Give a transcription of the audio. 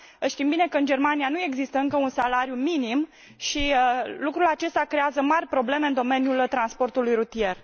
Știm bine că în Germania nu există încă un salariu minim și lucrul acesta creează mari probleme în domeniul transportului rutier.